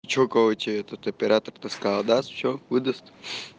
че короче этот оператор то сказал даст все выдаст